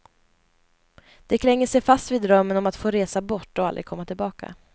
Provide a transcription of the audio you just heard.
De klänger sig fast vid drömmen om att få resa bort och aldrig komma tillbaka.